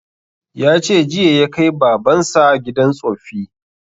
Ya ce jiya ya kai baban sa gidan tsoffi